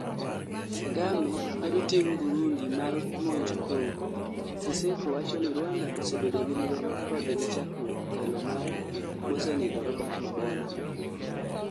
Kagame kwedo tim Burundi mar monjo Congo, Seseko wachoni Rwanda osebedo gi lweny kodgi chakruok telo mar mosenindo Robert mabona